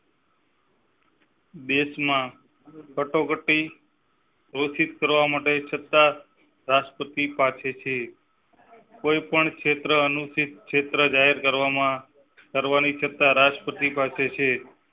દેશ માં કટોકટી. પ્રોત્સાહિત કરવા માટે સત્તા રાષ્ટ્રપતિ પાસે છે. કોઈ પણ ક્ષેત્ર અનુસુચિત ક્ષેત્ર જાહેર કરવામાં કરવાની સત્તા રાષ્ટ્રપતિ પાસે છે